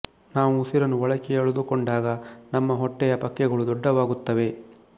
ನಾವು ಉಸಿರನ್ನು ಒಳಕ್ಕೆ ಎಳೆದುಕೊಂಡಾಗ ನಮ್ಮ ಹೊಟ್ಟೆಯ ಪಕ್ಕೆಗಳು ದೊಡ್ಡವಾಗುತ್ತವೆ